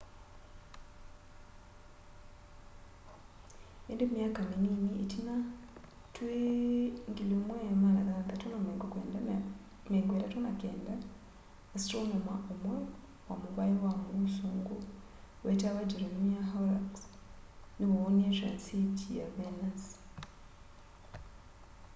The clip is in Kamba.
îndî myaka minini itina twî 1639 astronoma umwe wa muvai wa mûûsûngû wetawa jeremiah horrocks niwoonie transit ya venus